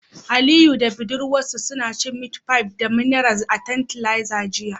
Aliyu da budurwarsa suna cin meat pie da mineral a tantalizer jiya